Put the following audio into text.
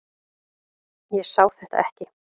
Ég sá þetta ekki.